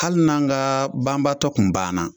Hali n'an ka banbaatɔ tun banna